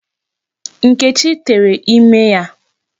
Nkechi tere ime ya.